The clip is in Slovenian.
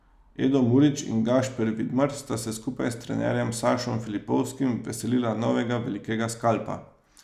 Edo Murić in Gašper Vidmar sta se skupaj s trenerjem Sašom Filipovskim veselila novega velikega skalpa.